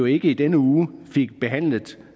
ikke i denne uge fik behandlet